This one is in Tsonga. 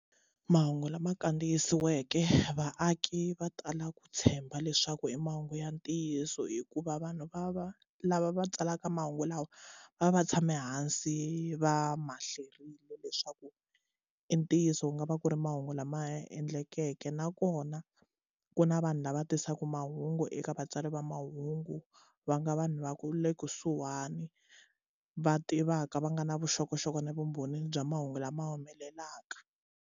Mahungu lama kandziyisiweke vaaki va tala ku tshemba leswaku i mahungu ya ntiyiso hikuva vanhu va va lava va tsalaka mahungu lawa va va tshame hansi va mahleriwile leswaku i ntiyiso ku nga va ku ri mahungu lama endlekeke nakona ku na vanhu lava tisaka mahungu eka vatsari va mahungu va nga vanhu va ku le kusuhani va tivaka va nga na vuxokoxoko na vumbhoni bya mahungu lama humelelaka.